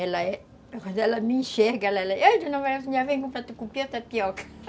Ela é... Quando ela me enxerga, ela... tapioca